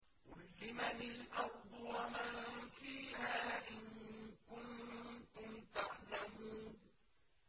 قُل لِّمَنِ الْأَرْضُ وَمَن فِيهَا إِن كُنتُمْ تَعْلَمُونَ